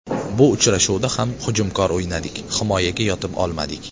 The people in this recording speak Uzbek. Bu uchrashuvda ham hujumkor o‘ynadik, himoyaga yotib olmadik.